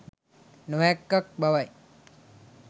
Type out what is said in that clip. නොහැක්කක් බව යි.